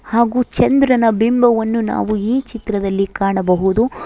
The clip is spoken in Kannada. ಹಾಗು ಚಂದ್ರನ ಬಿಂಬವನ್ನು ನಾವು ಈ ಚಿತ್ರದಲ್ಲಿ ಕಾಣಬಹುದು.